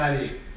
Evlənməliyik.